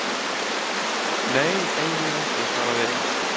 Nei, eiginlega ekki, svaraði Emil.